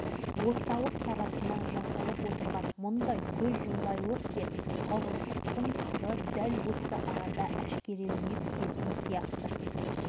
сияқты білгіштер ядролық сынақтың адамдарға зияны жоқ деген тұжырым жасап бүкіл елге жер салмағанда